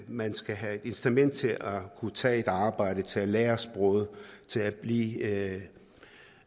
man skal have et incitament til at kunne tage et arbejde til at lære sproget til at blive